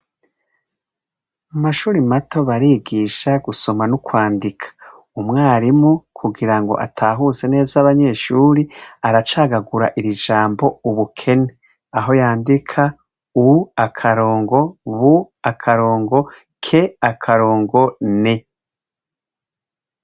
Mu mashure mato barigisha gusoma no kwandika. Umwarimu kugirango atahuze neza abanyeshure, aracagagura iri jambo ubukene, aho yandika u-bu-ke-ne.